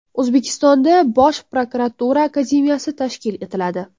O‘zbekistonda Bosh prokuratura akademiyasi tashkil etiladi.